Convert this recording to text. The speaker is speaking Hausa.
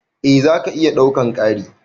Eh zaka iya ɗaukan Kari.